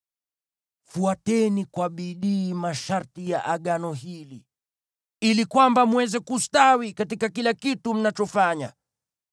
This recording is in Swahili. Fuateni kwa bidii masharti ya Agano hili, ili kwamba mweze kustawi katika kila kitu mnachofanya.